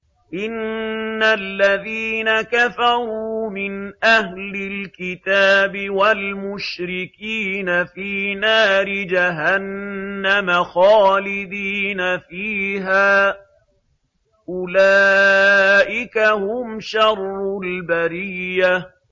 إِنَّ الَّذِينَ كَفَرُوا مِنْ أَهْلِ الْكِتَابِ وَالْمُشْرِكِينَ فِي نَارِ جَهَنَّمَ خَالِدِينَ فِيهَا ۚ أُولَٰئِكَ هُمْ شَرُّ الْبَرِيَّةِ